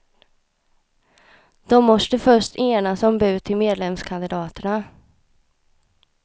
De måste först enas om bud till medlemskandidaterna.